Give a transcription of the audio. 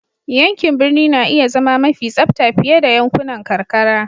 Yankin birni na iya zama mafi tsabta fiye da yankunan karkara.